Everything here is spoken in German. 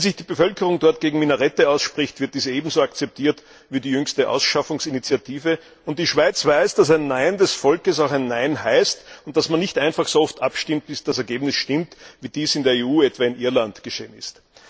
Wenn sich die Bevölkerung dort gegen Minarette ausspricht, wird dies ebenso akzeptiert wie die jüngste Ausschaffungsinitiative, und die Schweiz weiß, dass ein Nein des Volkes auch Nein heißt und dass man nicht einfach so oft abstimmt, bis das Ergebnis stimmt, wie dies in der EU etwa in Irland geschehen ist.